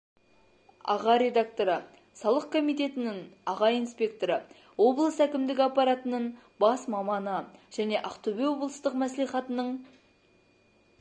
аға редакторы салық комитетінің аға инспекторы облыс әкімдігі аппаратының бас маманы және ақтөбе облыстық мәслихатының